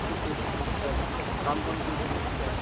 হৈ থাকিব বিচাৰো কাম-বন কৰি থকিব বিচাৰো